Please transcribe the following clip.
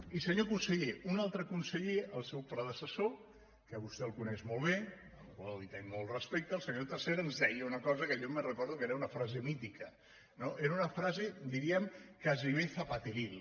i senyor conseller un altre conseller el seu predecessor que vostè el coneix molt bé al qual tinc molt respecte el senyor tresserras ens deia una cosa que jo me’n recordo que era una frase mítica no era una frase diríem gairebé zapateril